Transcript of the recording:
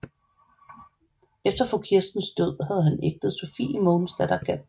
Efter fru Kirstens død havde han ægtet Sophie Mogensdatter Galt